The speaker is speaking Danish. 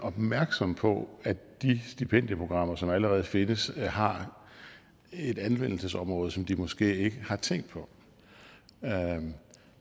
opmærksom på at de stipendieprogrammer som allerede findes har et anvendelsesområde som de måske ikke har tænkt på